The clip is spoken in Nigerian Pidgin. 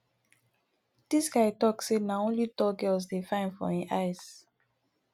dis guy tok sey na only tall girls dey fine for im eyes